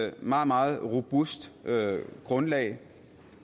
et meget meget robust grundlag